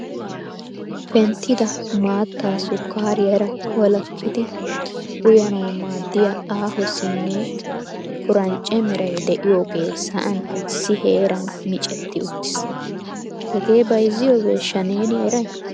Penttida maata sukkariyaara walakkidi uyyanaw maaddiya aaho sinee purancce meray de'iyooge sa'an issi heera micceti uttiis. Hegee bayzziyoobeshsha neeni eray?